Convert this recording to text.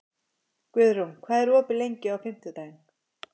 Guðrún, hvað er opið lengi á fimmtudaginn?